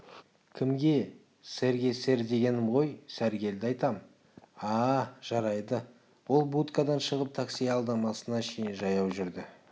кімге сэрге сэр дегенім ғой сәргелді айтам а-а жарайды ол будкадан шығып такси аялдамасына шейін жаяу жүрді